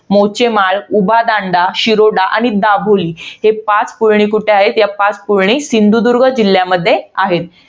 मोचेमाळ, उभादांडा, शिरोडा आणि दाभोळी. हे पाच पुळणी कुठे आहेत? तर या पाच पुळणी सिंधुदुर्ग जिल्ह्यामध्ये आहेत.